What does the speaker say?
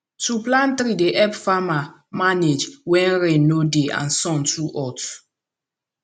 to plant tree dey help farmer manage when rain no dey and sun too hot